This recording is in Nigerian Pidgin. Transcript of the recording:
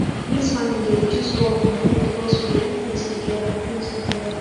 mix farming dey reduce work money because we dey do things together things together